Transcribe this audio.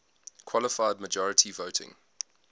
qualified majority voting